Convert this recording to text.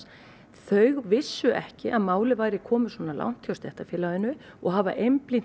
þau vissu ekki að málið væri komið svona langt hjá stéttarfélaginu og hafa einblínt